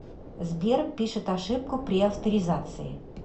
сбер пишет ошибку при авторизации